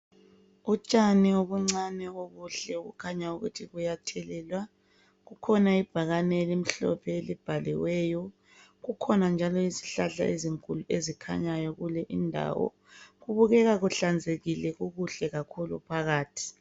Utshani obuncane obuhle okukhanya ukuthi buyathelelwa . Kukhona ibhakane elimhlophe elibhaliweyo . Kukhona njalo isihlahla ezinkulu ezikhanyayo kulindawo. Kubukeka kuhlanzekile kukuhle kakhulu phakathi .